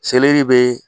Seleri bɛ